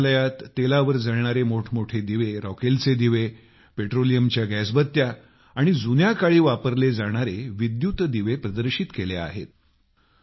संग्रहालयात तेलावर जळणारे मोठेमोठे दिवे रॉकेलचे दिवे पेट्रोलियमच्या गॅसबत्त्या व जुन्या काळी वापरले जाणारे विद्युत दिवे प्रदर्शित केलेले आहेत